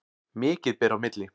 Mikið ber á milli.